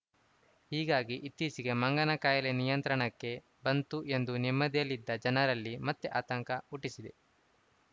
ಹೀಗಾಗಿ ಇತ್ತೀಚೆಗೆ ಮಂಗನ ಕಾಯಿಲೆ ನಿಯಂತ್ರಣಕ್ಕೆ ಬಂತು ಎಂದು ನೆಮ್ಮದಿಯಲ್ಲಿದ್ದ ಜನರಲ್ಲಿ ಮತ್ತೆ ಆತಂಕ ಹುಟ್ಟಿಸಿದೆ